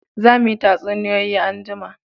Za mu yi tatsuniyoyi anjima